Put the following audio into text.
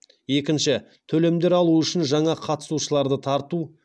екінші төлемдер алу үшін жаңа қатысушыларды тарту